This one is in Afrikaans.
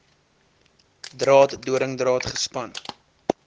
draad doringdraad gespan